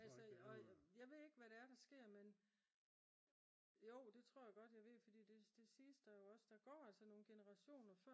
altså og jeg ved ikke hvad det er der sker men jo det tror jeg godt jeg ved fordi det siges der jo også der går altså nogle generationer